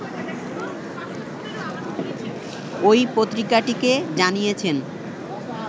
ওই পত্রিকাটিকে জানিয়েছেন